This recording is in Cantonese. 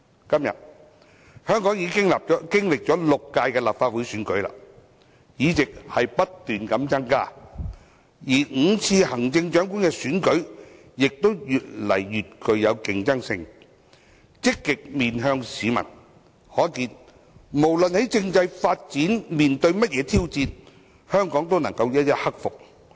今天，香港經歷了6屆立法會選舉，議席不斷增加，而5次行政長官選舉亦越來越具競爭性，積極面向市民，可見無論政制發展面對甚麼挑戰，香港都能夠一一克服。